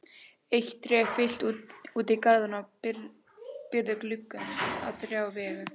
Eitt tré fyllti út í garðinn og byrgði glugga á þrjá vegu.